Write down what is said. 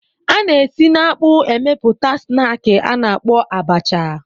A na-esi n'akpụ emepụta snaakị a na-akpọ abacha.